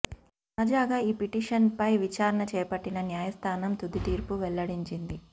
తాజాగా ఈ పిటిషన్పై విచారణ చేపట్టిన న్యాయ స్థానం తుదితీర్పు వెల్లడించింది